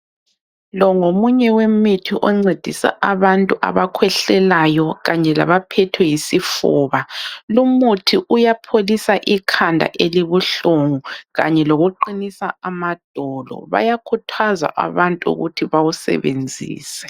Lo ngomunye wemithi oncedisa abantu abakhwehlelayo kanye labaphethwe yisifuba. Lumuthi uyapholisa ikhanda elibuhlungu kanye lokuqinisa amadolo. Bayakhuthazwa abantu ukuthi bawusebenzise.